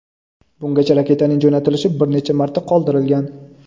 Bungacha raketaning jo‘natilishi bir necha marta qoldirilgan.